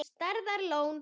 Stærðar lón.